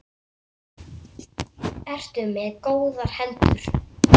Ertu með góðar hendur?